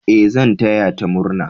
E, zan taya ta murna.